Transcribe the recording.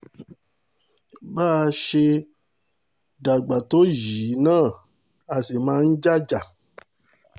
bá a ṣe dàgbà tó yìí náà a sì máa ń jà jà